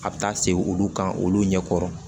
A bɛ taa segin olu kan olu ɲɛkɔrɔ